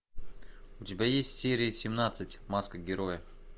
у тебя есть серия семнадцать маска героя